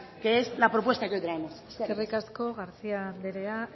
que es la propuesta que hoy traemos eskerrik asko garcía anderea